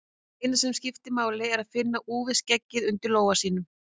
Það eina sem máli skiptir er að finna úfið skeggið undir lófa sínum.